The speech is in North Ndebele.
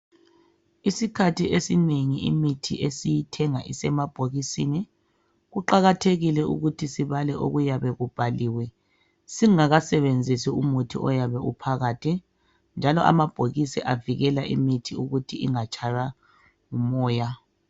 Isikhathi esinengi imithi esiyithenga isemabhokisini kuqakathekile ukuthi sibale okuyabe kubhaliwe singakasebenzisi umuthi oyabe uphakathi, njalo amabhokisi avikela imithi ukuthi ingatshaywa ngumoya.